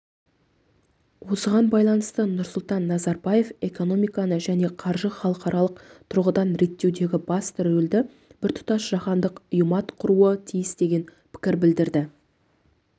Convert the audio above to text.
осыған байланысты нұрсұлтан назарбаев экономиканы және қаржыны халықаралық тұрғыдан реттеудегі басты рөлді біртұтас жаһандық ұйыматқаруы тиіс деген пікір білдірді